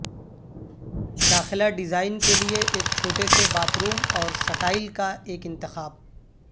داخلہ ڈیزائن کے لئے ایک چھوٹے سے باتھ روم اور سٹائل کا ایک انتخاب